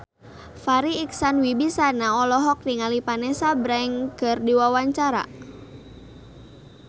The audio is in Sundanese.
Farri Icksan Wibisana olohok ningali Vanessa Branch keur diwawancara